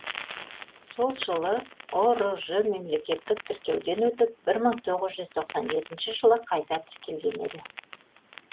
сол жылы ұрж мемлекеттік тіркеуден өтіп бір мың тоғыз жүз тоқсан жетінші жылы қайта тіркелген еді